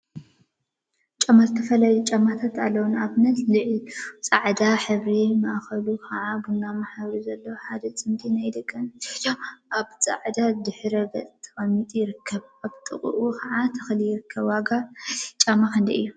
ጫማ ዝተፈላለዩ ጫማታት አለው፡፡ ንአብነት ላዕሉ ፃዕዳ ሕብሪ ማእከሉ ከዓ ቡናማ ሕብሪ ዘለዎ ሓደ ፅምዲ ናይ ደቂ አንስተዮ ጫማ አብ ፃዕዳ ድሕረ ገፅ ተቀሚጡ ይርከብ፡፡ አብ ጥቅኡ ከዓ ተክሊ ይርከብ፡፡ ዋጋ ናይዚ ጫማ ክንደይ እዩ?